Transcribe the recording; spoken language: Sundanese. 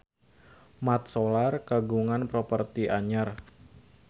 Mat Solar kagungan properti anyar